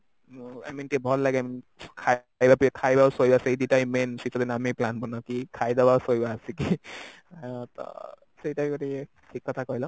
I mean ଟିକେ ଭଲ ଲଗେ ଖାଇବା ଆଉ ଶୋଇବା ସେଇ ଦିଟା ହିଁ main ଶୀତ ଦିନେ ଆମେ plan ବନାଉ କି ଖାଇବା ଅଉ ଶୋଇବା ଆସିକି ତ ସେଇଟା ବି ଗୋଟେ ଇଏ ଠିକ କଥା କହିଲ